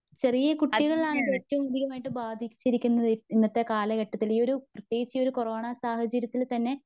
ചെറിയ കുട്ടികളിലാണിത്‌ ഏറ്റവും കൂടുതൽ ബാധിച്ചിരിക്കുന്നത്. ഇന്നത്തെ കാലഘട്ടത്തില് ഈയൊരു പ്രത്യേകിച്ച് ഈ ഒരു കൊറോണ സാഹചര്യത്തിൽ തന്നെ